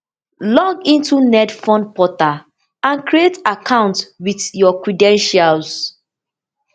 log into netfund portal and create account wit your credentials